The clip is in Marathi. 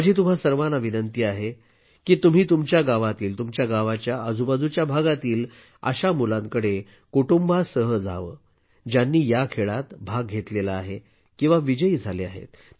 माझी तुम्हा सर्वांना विनंती आहे की तुम्ही तुमच्या गावातील तुमच्या गावाच्या आजूबाजूच्या भागातील अशा मुलांकडे कुटुंबासह जावे ज्यांनी या खेळात भाग घेतला आहे किंवा विजयी झाले आहेत